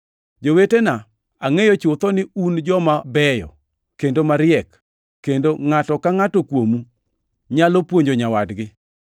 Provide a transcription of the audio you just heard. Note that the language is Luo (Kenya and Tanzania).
Jowetena, angʼeyo chutho ni un joma beyo kendo mariek kendo ngʼato ka ngʼato kuomu nyalo puonjo nyawadgi.